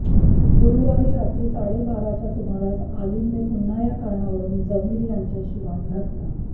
गुरुवारी रात्री साडे बाराच्या सुमारास आलीमने पुन्हा या कारणावरुन जमीर यांच्याशी वाद घातला